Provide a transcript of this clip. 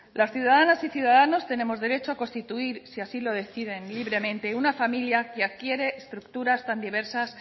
las ciudadanas y los ciudadanos tenemos derecho a constituir si así lo decide libremente una familia que adquiere estructura tan diversas